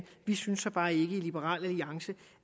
vi synes så bare ikke i liberal alliance